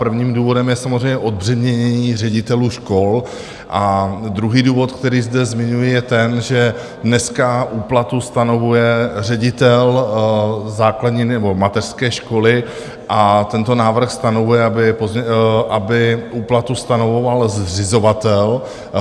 Prvním důvodem je samozřejmě odbřemenění ředitelů škol a druhý důvod, který zde zmiňuji, je ten, že dneska úplatu stanovuje ředitel základní nebo mateřské školy, a tento návrh stanovuje, aby úplatu stanovoval zřizovatel.